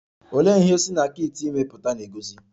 Olee ihe si na kit ime pụta na-egosi?